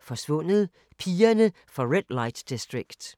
Forsvundet: Pigerne fra Red Light District